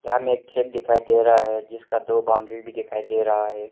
यहां में एक खेत भी दिखाई दे रहा है जिसका दो बाउंड्री भी दिखाई दे रहा है।